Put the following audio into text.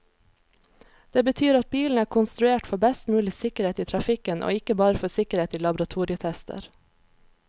Det betyr at bilen er konstruert for best mulig sikkerhet i trafikken, og ikke bare for sikkerhet i laboratorietester.